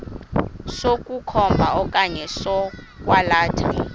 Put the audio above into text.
sokukhomba okanye sokwalatha